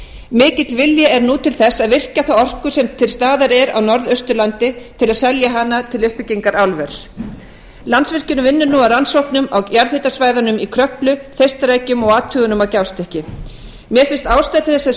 mikill vilji er nú til þess að virkja þá orku sem til staðar er á norðausturlandi til að selja hana til uppbyggingar álvers landsvirkjun vinnur nú að rannsóknum á jarðhitasvæðunum í kröflu þeistareykjum og athugunum á gjástykki mér finnst ástæða til þess að